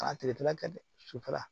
A tigɛ tɛna kɛ dɛ sufɛla